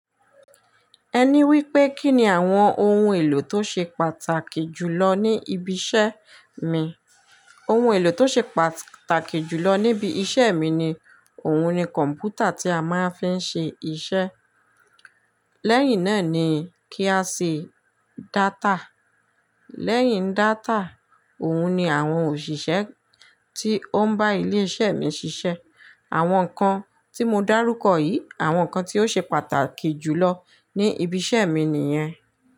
Ẹní wí pé kí ni àwọn ohun èlò tó ṣe pàtàkì jùlọ ní ibi iṣẹ́ mi? Ohun èlò tó ṣe pàtàkì jùlọ níbi iṣẹ́ mi ni, òun ni kọ̀ǹpútà tí a máa ń fi ń ṣe iṣẹ́. Lẹ́yìn náà ni kí a sì data. Lẹ́yìn data, òun ni àwọn òṣìṣẹ́ tí ó ń bá ilé iṣẹ́ mi ṣiṣẹ́. Àwọn nǹkan tí mo dárúkọ yìí, àwọn nǹkan tí ó ṣe pàtàkì jùlọ ní ibi iṣẹ́ mi nìyẹn.